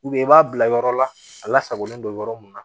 i b'a bila yɔrɔ la a lasagolen don yɔrɔ mun na